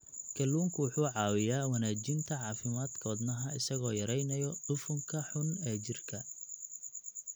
Kalluunku wuxuu caawiyaa wanaajinta caafimaadka wadnaha isagoo yareynaya dufanka xun ee jirka.